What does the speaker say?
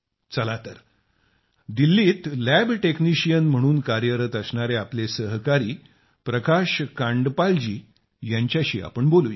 चला तर दिल्लीत लॅब टेक्नीशियन म्हणून कार्यरत असणारे आपले सहकारी प्रकाश कांडपाल जी यांच्याशी बोलूया